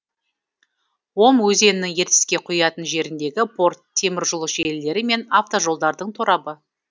ом өзенінің ертіске құятын жеріндегі порт темір жол желілері мен автожолдардың торабы